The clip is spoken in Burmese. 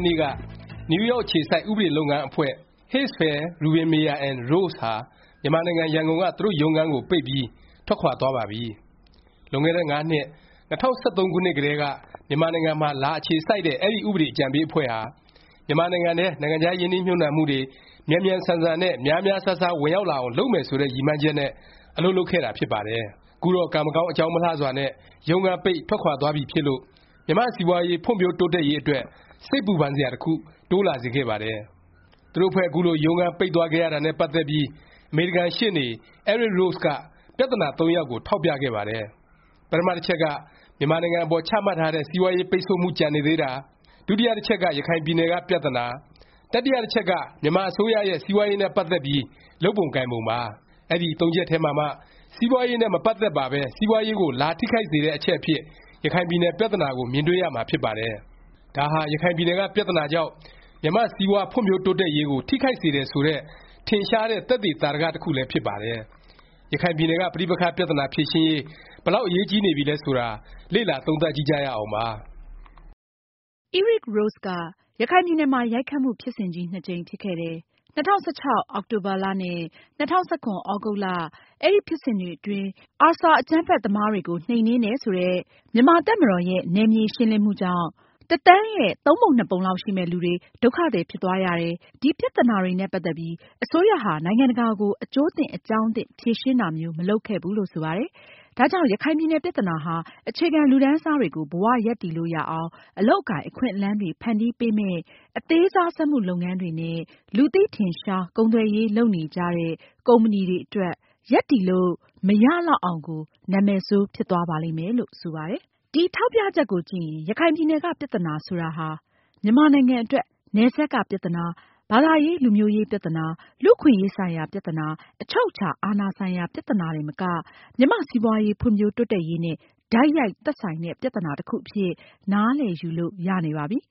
်နေ့က နယူးယောက် အခြေစိုက် ဥပဒေလုပ်ငန်း အဖွဲ့ Herzfeld Rubin Meyer & Rose ဟာ မြန်မာနိုင်ငံ ရန်ကုန်က သူတို့ ရုံးခန်းကို ပိတ်ပြီး ထွက်ခွာသွားပါပြီ။ လွန်ခဲ့တဲ့ ၅ နှစ် ၂၀၁၃ ခုနှစ်ကတည်းက မြန်မာနိုင်ငံမှာ လာအခြေစိုက်တဲ့ အဲဒီ ဥပဒေ အကြံပေးအဖွဲ့ဟာ မြန်မာနိုင်ငံထဲ နိုင်ငံခြား ရင်းနှီးမြှုပ်နံှမှုတွေ မြန်မြန်ဆန်ဆန်နဲ့ များများစားစား ဝင်ရောက်လာအောင် လုပ်မယ် ဆိုတဲ့ ရည်မှန်းချက်နဲ့ အလုပ်လုပ်ခဲ့တာ ဖြစ်ပါတယ်။ ခုတော့ ကံမကောင်းအကြောင်းမလှစွာနဲ့ ရုံးခန်းပိတ် ထွက်ခွာသွားပြီဖြစ်လို့ မြန်မာ့ စီးပွားရေး ဖွံ့ဖြိုးတိုးတက်ရေး အတွက် စိတ်ပူပန်စရာ တစ်ခု တိုးလာစေခဲ့ပါတယ်။ သူတို့အဖွဲ့ ခုလို ရုံးခန်း ပိတ်သွားခဲ့ရတာနဲ့ ပတ်သက်ပြီး အမေရိကန်ရှေ့နေ Eric Rose က ပြသနာ သုံးရပ်ကို ထောက်ပြခဲ့ပါတယ်။ ပထမ တစ်ချက်က မြန်မာနိုင်ငံအပေါ် ချမှတ်ထားတဲ့ စီးပွားရေး ပိတ်ဆို့မှု ကျန်နေသေးတာ၊ ဒုတိယ တစ်ချက်က ရခိုင်ပြည်နယ်က ပြသနာ၊ တတိယ တစ်ချက်က မြန်မာအစိုးရရဲ့ စီးပွားရေးနဲ့ ပတ်သက်ပြီး လုပ်ပုံကိုင်ပုံပါ။ အဲဒီ သုံးချက်ထဲမှာမှ စီးပွားရေးနဲ့ မပတ်သက်ပါပဲ စီးပွားရေးကို လာထိခိုက်စေတဲ့ အချက်အဖြစ် ရခိုင်ပြည်နယ် ပြသနာကို မြင်တွေ့ရမှာ ဖြစ်ပါတယ်။ ဒါဟာ ရခိုင်ပြည်နယ်က ပြသနာကြောင့် မြန်မာ့စီးပွား ဖွံ့ဖြိုးတိုးတက်ရေးကို ထိခိုက်စေတယ် ဆိုတဲ့ ထင်ရှားတဲ့ သက်သေသာဓက တစ်ခုလည်း ဖြစ်ပါတယ်။ ရခိုင်ပြည်နယ်က ပဋိပက္ခ ပြသနာ ဖြေရှင်းရေး ဘယ်လောက် အရေးကြီးနေပြီလဲ ဆိုတာ လေ့လာ သုံးသပ်ကြည့်ကြရအောင်ပါ။ Eric Rose က ရခိုင်ပြည်နယ်မှာ ရိုက်ခတ်မှု ဖြစ်စဉ်ကြီး နှစ်ကြိမ် ဖြစ်ခဲ့တယ်။ ၂၀၁၆ အောက်တိုဘာ နဲ့ ၂၀၁၇ သြဂုတ်လ၊ အဲဒီ ဖြစ်စဉ်တွေအတွင်း ARSA အကြမ်းဖက် သမားတွေကို နှိမ်နင်းတယ် ဆိုတဲ့ မြန်မာ့တပ်မတော်ရဲ့ နယ်မြေရှင်းလင်းမှုကြောင့် တစ်သန်းရဲ့ သုံးပုံနှစ်ပုံလောက် ရှိမယ့် လူတွေ ဒုက္ခသည် ဖြစ်သွားရတယ်၊ ဒီ ပြသနာတွေနဲ့ ပတ်သက်ပြီး အစိုးရဟာ နိုင်ငံတကာကို အကျိုးသင့် အကြောင်းသင့် ဖြေရှင်းတာမျိုး မလုပ်ခဲ့ဘူးလို့ ဆိုပါတယ်။ ဒါကြောင့် ရခိုင်ပြည်နယ် ပြသနာဟာ အခြေခံလူတန်းစားတွေကို ဘဝရပ်တည်လို့ရအောင် အလုပ်အကိုင် အခွင့်လမ်းတွေ ဖန်တီးပေးမဲ့ အသေးစား စက်မှုလက်မှုလုပ်ငန်းတွေနဲ့ လူသိထင်ရှား ကုန်သွယ်ရေးလုပ်နေကြတဲ့ ကုမ္ပဏီတွေအတွက် ရပ်တည်လို့မရလောက်အောင်ကို နာမည်ဆိုးဖြစ်သွားပါလိမ့်မယ်။ လို့ ဆိုပါတယ်။ ဒီ ထောက်ပြချက်ကိုကြည့်ရင် ရခိုင်ပြည်နယ်က ပြသနာ ဆိုတာဟာ မြန်မာနိုင်ငံအတွက် နယ်စပ်က ပြသနာ၊ ဘာသာရေး လူမျိုးရေး ပြသနာ၊ လူ့အခွင့်အရေး ဆိုင်ရာ ပြသနာ၊ အချုပ်အခြာ အာဏာ ဆိုင်ရာ ပြသနာ တင်မက မြန်မာ့ စီးပွားရေး ဖွံ့ဖြိုးတိုးတက်ရေးနဲ့ တိုက်ရိုက် သက်ဆိုင်တဲ့ ပြသနာ တစ်ခုအဖြစ် နားလည်ယူလို့ ရနေပါပြီ။